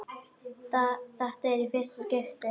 Þetta er í fyrsta skipti.